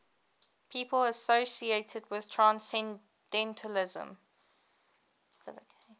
people associated with transcendentalism